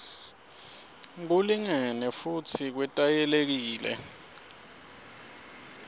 kulingene futsi kwetayelekile